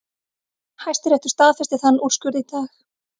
Hæstiréttur staðfesti þann úrskurð í dag